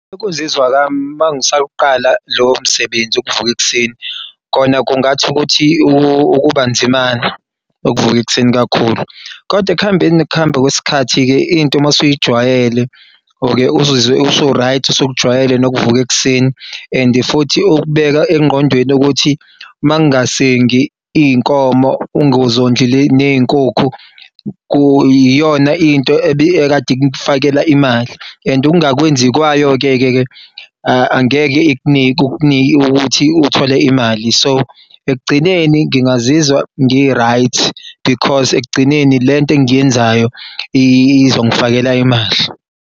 Ukuzizwa kwami mangisawuqala lowo msebenzi wokuvuka ekuseni kona kungathi ukuthi ukubanzinyana ukuvuka ekuseni kakhulu kodwa ekuhambeni nokuhamba kwesikhathi into masuyijwayele uke uzizwe usu-right sewukujwayele nokuvuka ekuseni and futhi ukubeka engqondweni ukuthi mangasengi iy'nkomo ngazondli ney'nkukhu iyona into ebekade ikufakela imali and ungakwenzi kwayo-ke-ke angeke kukunik'ukuthi uthole imali, so ekugcineni ngingazizwa ngi-right because ekugcineni lento engiy'yenzayo izongifakela imali.